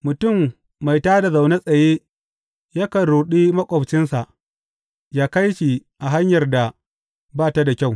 Mutum mai tā da na zaune tsaye yakan ruɗi maƙwabcinsa ya kai shi a hanyar da ba ta da kyau.